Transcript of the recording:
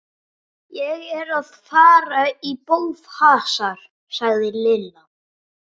Ég er að fara í bófahasar sagði Lilla.